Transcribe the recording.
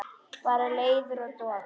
Bara leiður og dofinn.